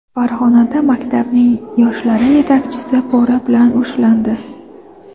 Farg‘onada maktabning yoshlar yetakchisi pora bilan ushlandi.